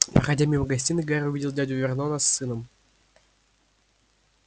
проходя мимо гостиной гарри увидел дядю вернона с сыном